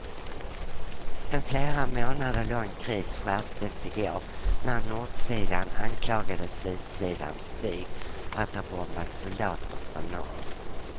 En flera månader lång kris skärptes igår när nordsidan anklagade sydsidans flyg för att ha bombat soldater från norr.